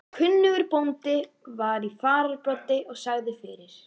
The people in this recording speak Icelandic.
Kunnugur bóndi var í fararbroddi og sagði fyrir.